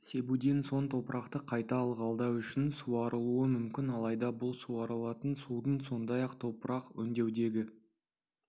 себуден соң топырақты қайта ылғалдау үшін суарылуы мүмкін алайда бұл суарылатын судың сондай-ақ топырақ өңдеудегі